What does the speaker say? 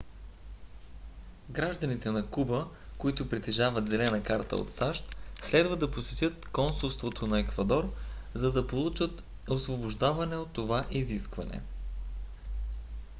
гражданите на куба които притежават зелена карта от сащ следва да посетят консулство на еквадор за да получат освобождаване от това изискване